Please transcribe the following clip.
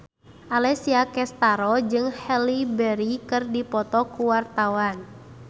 Alessia Cestaro jeung Halle Berry keur dipoto ku wartawan